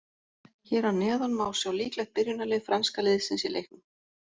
Hér að neðan má sjá líklegt byrjunarlið franska liðsins í leiknum.